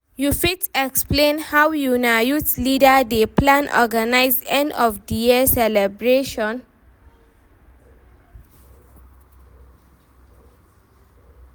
you fit explain how una youth leader dey plan organize end of the year celebration?